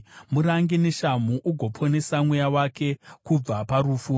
Murange neshamhu ugoponesa mweya wake kubva parufu.